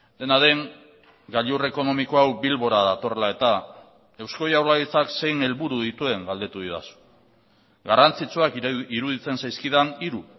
dena den gailur ekonomiko hau bilbora datorrela eta eusko jaurlaritzak zein helburu dituen galdetu didazu garrantzitsuak iruditzen zaizkidan hiru